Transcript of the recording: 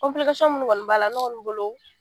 minnu kɔni b'a la, ne kɔni bolo